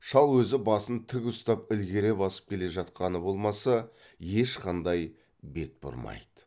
шал өзі басын тік ұстап ілгере басып келе жатқаны болмаса ешқандай бет бұрмайды